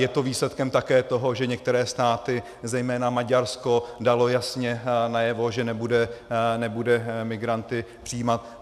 Je to výsledkem také toho, že některé státy - zejména Maďarsko dalo jasně najevo, že nebude migranty přijímat.